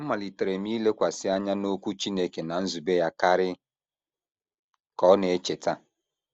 “ Amalitere m ilekwasị anya n’Okwu Chineke na nzube ya karị, ” ka ọ na - echeta.